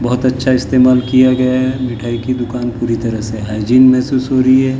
बहुत अच्छा इस्तेमाल किया गया है मिठाई की दुकान पूरी तरह से हाइजीन महसूस हो रही है ।